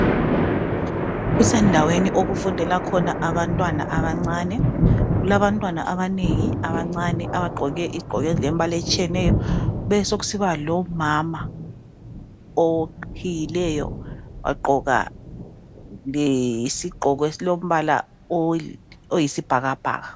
Kusendaweni okufundela khona abantwana abancane .Kulabantwana abanengi abancane abagqoke izigqoko ezilembala etshiyeneyo besokusiba lomama oqhiyileyo wagqoka lesigqoko esilombala oyisibhakabhaka.